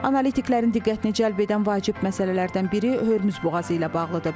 Analitiklərin diqqətini cəlb edən vacib məsələlərdən biri Hörmüz boğazı ilə bağlıdır.